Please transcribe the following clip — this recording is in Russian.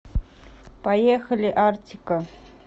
поехали артико